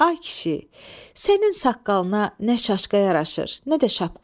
Ay kişi, sənin saqqalına nə şaşqa yaraşır, nə də şapka.